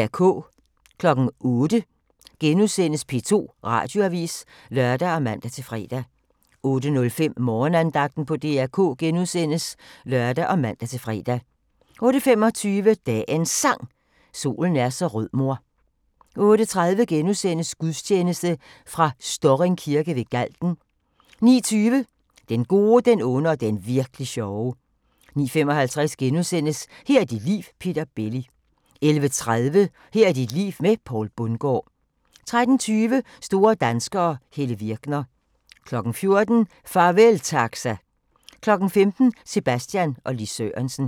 08:00: P2 Radioavis *(lør og man-fre) 08:05: Morgenandagten på DR K *(lør og man-fre) 08:25: Dagens Sang: Solen er så rød mor 08:30: Gudstjeneste fra Storring Kirke ved Galten * 09:20: Den gode, den onde og den virk'li sjove 09:55: Her er dit liv – Peter Belli * 11:30: Her er dit liv med Poul Bundgaard 13:20: Store danskere - Helle Virkner 14:00: Farvel Taxa 15:00: Sebastian og Lis Sørensen